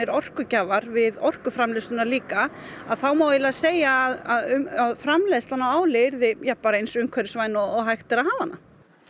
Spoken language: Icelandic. orkugjafar við orkuframleiðsluna líka að þá má eiginlega segja að framleiðslan á áli yrði ja bara eins umhverfisvæn eins og hægt er að hafa hana